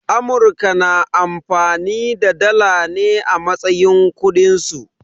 Amurka na amfani da dala ne a matsayin kudin su.